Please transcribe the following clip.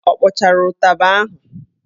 Ọ kpọchara ụtaba ahụ?